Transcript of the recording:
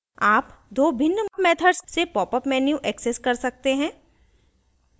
आप दो भिन्न methods से popup menu access कर सकते हैं